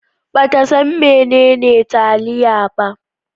Ba ta san menene taliya ba.